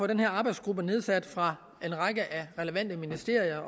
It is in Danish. den her arbejdsgruppe nedsat fra en række relevante ministerier